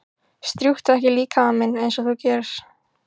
Strjúktu ekki líkama minn einsog þú gerir.